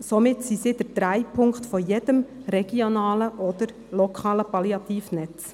Somit sind sie der Drehpunkt jedes regionalen oder lokalen Palliativnetzes.